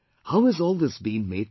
How has all this been made possible